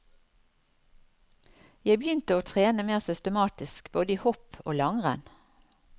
Jeg begynte å trene mer systematisk både i hopp og langrenn.